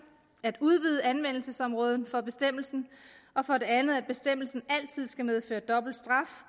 at udvide anvendelsesområdet for bestemmelsen og for det andet at bestemmelsen altid skal medføre dobbelt straf